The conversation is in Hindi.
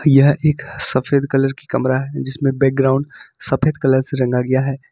यह एक सफेद कलर की कमरा है जिसमे बैकग्राउंड सफेद कलर से रंग गया है।